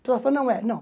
não é. Não.